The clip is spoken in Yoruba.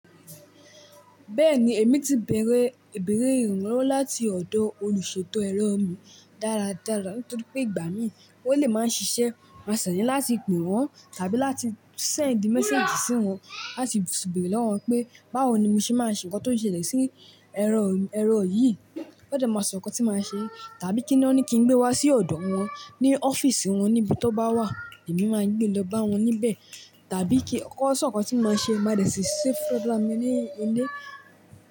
Bẹ́ẹ̀ni, èmi ti bẹ̀rẹ̀ ìranlowo láti ọ̀dọ̀ olùṣètò ẹ̀rọ mi dáradára, nítorí pé ìgbà mìíràn ó lè máa ń ṣiṣẹ́, má sẹ̀ ni láti pè wọ́n tàbí láti sẹ̀ndì mẹ́sẹ́ẹ̀jì sí wọn láti se bẹ̀rẹ̀ lọ́wọ́ wọn pé báwo ni mo ṣe máa ṣe ǹkan tó ń ṣẹlẹ̀ sí ẹ̀rọ yìí. Won dẹ́ máa sọ ǹkan tí màá ṣe tàbí kíni wọ́n ní kí n gbé wá sí ọ̀dọ̀ wọn ní ọ́fíìsì wọn níbi tó bá wà, èmi máa gbé lọ bá wọn níbẹ̀ tàbí kí ó sọ ǹkan tí màá ṣe máa dẹ̀ ṣìí se funra mi ní ilé.